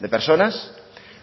de personas